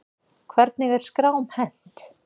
Hvernig er skrám hent?